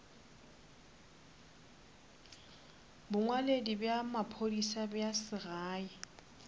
bongwaledi bja maphodisa bja segae